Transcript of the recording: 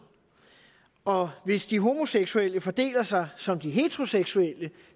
og hvis de homoseksuelle fordeler sig som de heteroseksuelle